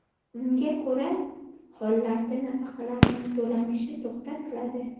Unga ko‘ra: hollarda nafaqalarning to‘lanishi to‘xtatiladi.